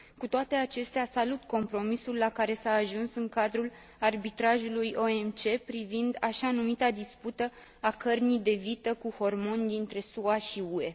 Cu toate acestea, salut compromisul la care s a ajuns în cadrul arbitrajului OMC privind așa numita dispută a cărnii de vită cu hormoni dintre SUA și UE.